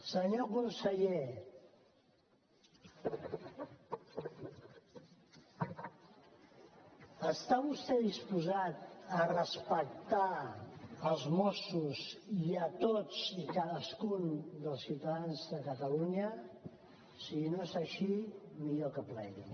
senyor conseller està vostè disposat a respectar els mossos i tots i cadascun dels ciutadans de catalunya si no és així millor que plegui